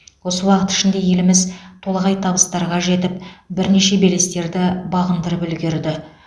осы уақыт ішінде еліміз толағай табыстарға жетіп бірнеше белестерді бағындырып үлгерді